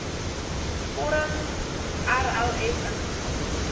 vorm rlf ingevul